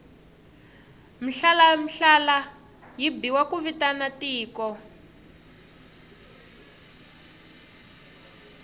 mhlalamhlala yi biwa ku vitana tiko